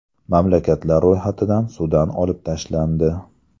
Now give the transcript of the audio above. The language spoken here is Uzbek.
Mamlakatlar ro‘yxatidan Sudan olib tashlandi.